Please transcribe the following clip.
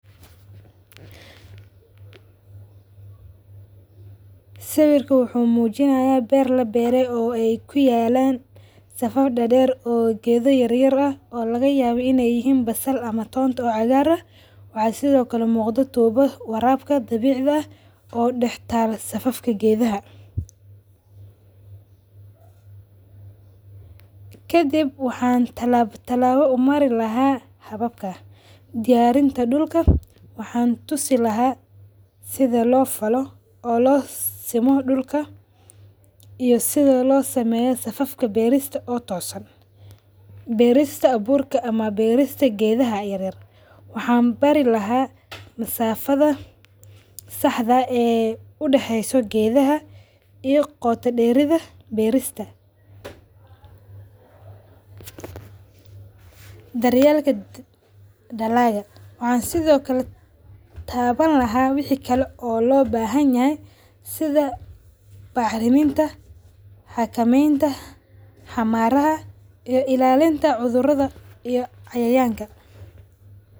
Sawirka wuxuu mujinayaa beer labere oo ee ku yalan safaf dader oo ee ku yalan geeda yar yar ah oo laga yawa in ee yihin basal ama tonta oo cagar ah, waxaa sithokale muqdo tubo warabka ah dabicda ah oo dax tala safafka geedhaha, kadiib waxan talaba talaba u mari lahay hababka, diyarinta dulka, waxan tusi laha sitha lo falo oo lo simo dulka iyo sitha lo sameyo safafka berista oo tosan, berista aburka ama berista geedhaha yar yar waxan bari lahay masafadha saxda eh ee u daxeyso geedhaha iyo qota deeridha beerista, daryelka dalagga, waxan sithokale tawan lahay wixi kale oo lo bahan yahay, sitha baxriminta, xakamentaa, xamaraha iyo ilalinta cuthuradha iyo cayayanka.